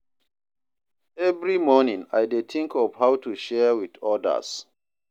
Every morning, I dey think of how to share with others.